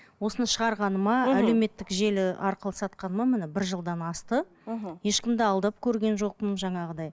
осыны шығарғаныма әлеуметтік желі арқылы сатқаныма міне бір жылдан асты мхм ешкімді алдап көрген жоқпын жаңағыдай